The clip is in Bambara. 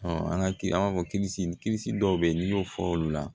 an ka kiiri an b'a fɔ dɔw bɛ yen n'i y'o fɔ olu la